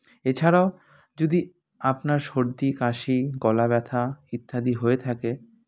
এছাড়াও যদি আপনার সর্দি কাশি গলাব্যথা ইত্যাদি হয়ে থাকে